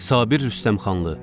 Sabir Rüstəmxanlı.